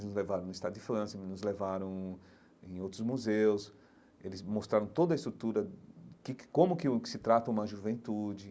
Nos levaram no Estádio de Fãs, nos levaram em outros museus, eles mostraram toda a estrutura, que que como que o se trata uma juventude.